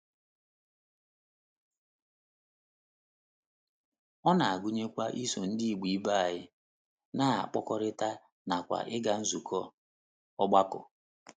Ọ na - agụnyekwa iso Ndị Igbo ibe anyị na - akpakọrịta nakwa ịga nzukọ ọgbakọ.